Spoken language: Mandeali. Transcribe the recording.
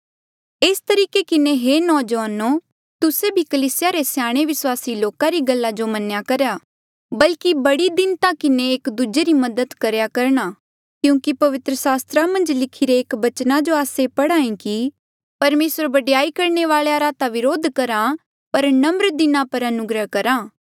एस तरीके किन्हें हे नौजुआनो तुस्से भी कलीसिया रे स्याणे विस्वासी लोका री गल्ला जो मन्नेया करेया बल्की बड़ी दीनता किन्हें एक दूजे री मदद करेया करणा क्यूंकि पवित्र सास्त्रा मन्झ लिखिरे एक बचना जो आस्से पढ़े कि परमेसर बडयाई करणे वालेया रा ता विरोध करहा पर नम्र दीना पर अनुग्रह करहा